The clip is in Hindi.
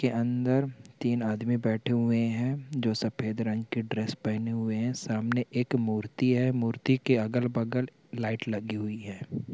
के अंदर तीन आदमी बेठे हुए है और जो सफेर् रंग की ड्रेस पहेने हुए है सामने एक मूर्ति है मूर्ति के अगल बगल लाईट लगी हुई है।